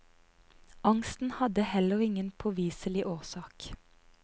Angsten hadde heller ingen påviselig årsak.